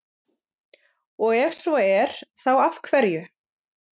Og ef svo er þá af hverju?